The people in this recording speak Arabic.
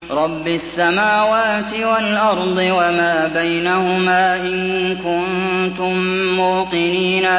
رَبِّ السَّمَاوَاتِ وَالْأَرْضِ وَمَا بَيْنَهُمَا ۖ إِن كُنتُم مُّوقِنِينَ